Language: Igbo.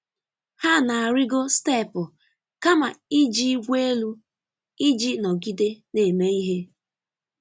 Ha na-arịgo steepụ kama iji igwe elu iji nọgide na-eme ihe.